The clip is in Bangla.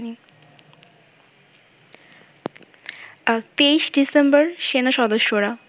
২৩ ডিসেম্বর সেনাসদস্যরা